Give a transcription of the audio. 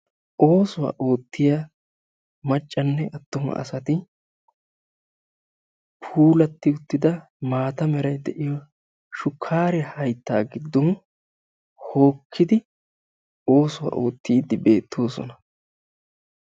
Oosuwaa oottiya maccanne attuma asaati puulatti uttida maata meray de"iyo shukkariya haytta giddoni hokkidi oosuwaa oottiiddi beettosona.